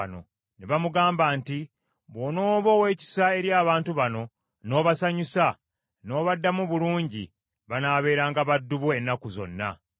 Ne bamugamba nti, “Bw’onooba ow’ekisa eri abantu bano, n’obasanyusa, n’obaddamu bulungi, banaabeeranga baddu bo ennaku zonna.”